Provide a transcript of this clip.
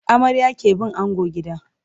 Amarya ke bin ango gida.